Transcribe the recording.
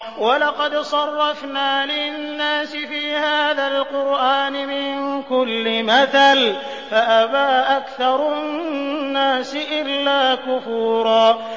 وَلَقَدْ صَرَّفْنَا لِلنَّاسِ فِي هَٰذَا الْقُرْآنِ مِن كُلِّ مَثَلٍ فَأَبَىٰ أَكْثَرُ النَّاسِ إِلَّا كُفُورًا